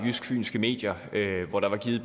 fynske medier hvor der var givet